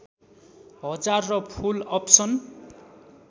हजार र full option